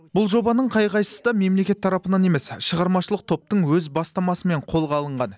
бұл жобаның қай қайсысы да мемлекет тарапынан емес шығармашылық топтың өз бастамасымен қолға алынған